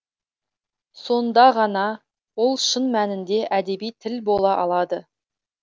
сонда ғана ол шын мәнінде әдеби тіл бола алады